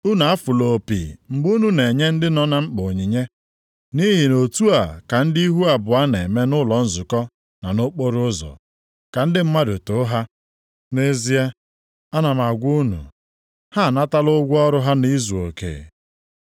“Unu afụla opi mgbe unu na-enye ndị nọ na mkpa onyinye, nʼihi na otu a ka ndị ihu abụọ na-eme nʼụlọ nzukọ na nʼokporoụzọ, ka ndị mmadụ too ha. Nʼezie, ana m agwa unu, ha anatala ụgwọ ọrụ ha nʼizuoke.